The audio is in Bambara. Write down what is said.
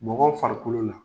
Mɔgɔw farikolo la